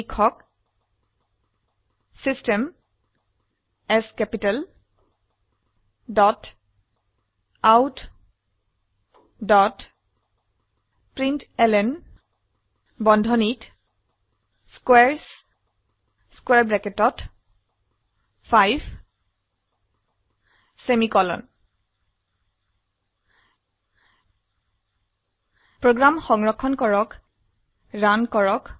লিখক system S capitaloutprintlnস্কোৱাৰেছ 5 program সংৰক্ষণ কৰে ৰান কৰুন